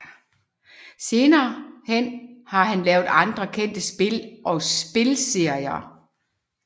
Senere hen har han lavet andre kendte spil og spilserier